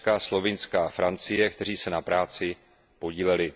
Německa, Slovinska a Francie, kteří se na práci podíleli.